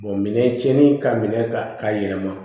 minɛn cɛni ka minɛ ta ka yɛlɛma